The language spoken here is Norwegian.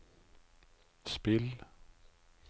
spill